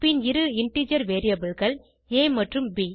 பின் இரு இன்டிஜர் variableகள் ஆ மற்றும் ப்